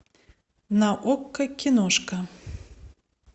на окко киношка